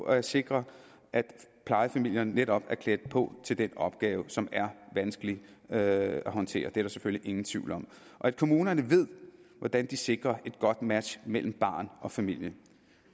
at sikre at plejefamilierne netop er klædt på til den opgave som er vanskelig at håndtere det er der selvfølgelig ingen tvivl om kommunerne ved hvordan de sikrer et godt match mellem barn og familie